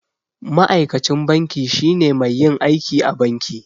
Ma'aikacin banki shine mai yin aiki a banki.